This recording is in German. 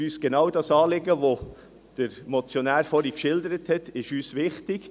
Genau jenes Anliegen, welches der Motionär vorhin geschildert hat, ist uns wichtig.